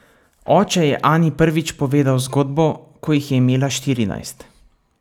Oče je Ani prvič povedal zgodbo, ko jih je imela štirinajst.